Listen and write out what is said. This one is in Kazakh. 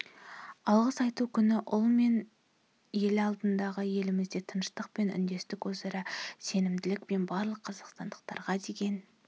алғыс айту күні ұл ең алдымен елімізде тыныштық пен үндестік өзара сенімділік пен барлық қазақстандықтарға деген